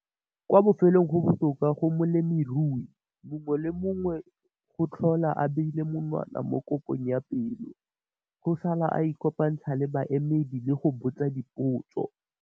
Kwa bofelong, go botoka go molemirui mongwe le mongwe go tlhola a beile monwana mo kopong ya pelo, go sala a ikopantsha le baemedi le go botsa dipotso.